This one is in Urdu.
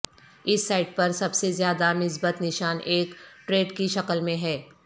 اس سائٹ پر سب سے زیادہ مثبت نشان ایک ٹررید کے شکل میں ہے